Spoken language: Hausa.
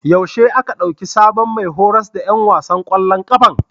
Yaushe aka ɗauki sabon mai horas da ƴan wasan ƙwallon ƙafan?